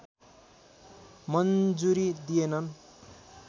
मन्जुरी दिएनन्